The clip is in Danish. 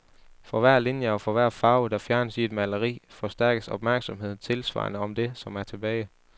For hver linje og for hver farve, der fjernes i et maleri, forstærkes opmærksomheden tilsvarende om det, som er tilbage.